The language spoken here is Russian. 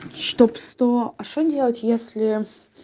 чтоб сто а что делать если